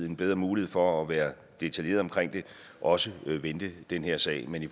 en bedre mulighed for at være detaljeret omkring det også vendte den her sag men i